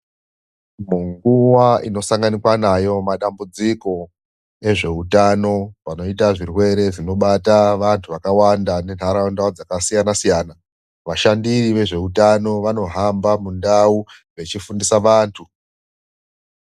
Munguwa inosanganikwa nayo madambudziko ezveutano inoita zvirwere zvinobata vantu vakawanda nenharaunda dzakasiyanasiyana ,vashandiri vezveutano vanohamba mundawu vechifundisa vantu